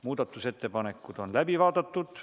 Muudatusettepanekud on läbi vaadatud.